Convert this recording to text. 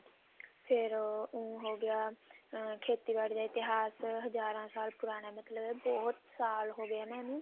ਫ਼ੇਰ ਊਂ ਹੋਗਿਆ ਖੇਤੀਬਾੜੀ ਦਾ ਇਤਿਹਾਸ ਹਜ਼ਾਰਾਂ ਸਾਲ ਪੁਰਾਣਾ ਮਤਲਬ ਬਹੁਤ ਸਾਲ ਹੋਗੇ ਇਹਨੂੰ